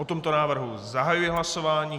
O tomto návrhu zahajuji hlasování.